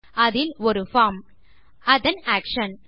அதில் ஒரு பார்ம் அதன் ஆக்ஷன்